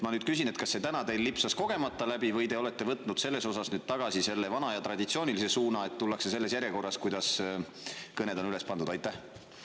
Ma nüüd küsin, kas see lipsas täna teil kogemata läbi või te olete võtnud tagasi selle vana ja traditsioonilise suuna, et tullakse selles järjekorras, kuidas kõned on.